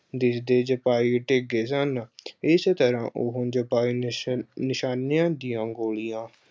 ਦਿਸਦੇ ਸਿਪਾਹੀ ਡੇਗੇ ਸਨ, ਇਸ ਤਰ੍ਹਾਂ ਉਹੋ ਸਿਪਾਹੀ ਨਿਸ਼ ਅਹ ਨਿਸ਼ਾਨਿਆਂ ਦੀਆਂ ਗੋਲੀਆਂ